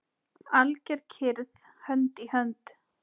Alger kyrrð, hönd í hönd.